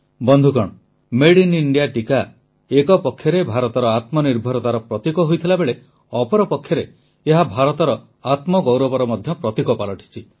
ବନ୍ଧୁଗଣ ମେଡଇନ୍ଇଣ୍ଡିଆ ଟିକା ଏକ ପକ୍ଷରେ ଭାରତର ଆତ୍ମନିର୍ଭରତାର ପ୍ରତୀକ ହୋଇଥିବାବେଳେ ଅପରପକ୍ଷରେ ଏହା ଭାରତର ଆତ୍ମଗୌରବର ମଧ୍ୟ ପ୍ରତୀକ ପାଲଟିଛି